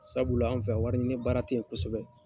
Sabula an fɛ yan wari ɲi baara tɛ yen kosɛbɛ.